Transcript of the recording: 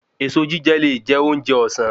Èso jíjẹ le je ounjẹ òsán